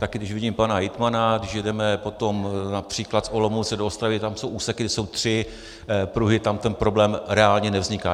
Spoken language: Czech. Také když vidím pana hejtmana, když jedeme potom například z Olomouce do Ostravy, tam jsou úseky, kde jsou tři pruhy, tam ten problém reálně nevzniká.